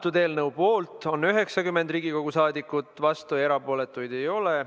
Selle eelnõu poolt on 90 Riigikogu liiget, vastuolijaid ja erapooletuid ei ole.